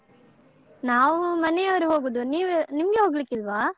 ನಾವು ಮನೆಯವರು ಹೋಗುದು ನೀವು ನಿಮ್ಗೆ ಹೋಗ್ಲಿಕ್ಕಿಲ್ವಾ?